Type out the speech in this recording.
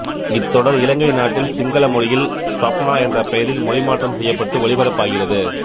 இத்தொடர் இலங்கை நாட்டில் சிங்கள மொழியி்ல் ஸ்வப்னா என்ற பெயரில் மொழிமாற்றம் செய்யப்பட்டு ஒளிபரப்பாகிறது